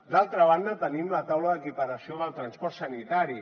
d’altra banda tenim la taula d’equiparació del transport sanitari